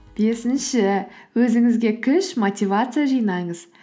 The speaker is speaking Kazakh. бесінші өзіңізге күш мотивация жинаңыз